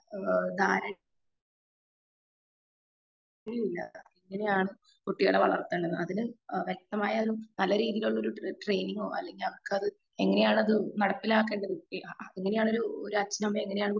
ഏഹ് കാര്യം ഇല്ല എങ്ങനെയാണ് കുട്ടികളെ വളർത്തേണ്ടത് അതിന് വ്യക്തമായ ഒരു നല്ല രീതിയിലുള്ള ഒരു ട്രെയിനിങ്ങോ അല്ലെങ്കിൽ അവർക്കത് എങ്ങനെയാണ് അത് നടപ്പിലാക്കേണ്ടത് ഒക്കെ എങ്ങനെയാണ് ഒരു അച്ഛനുമമ്മയും എങ്ങനെയാണ്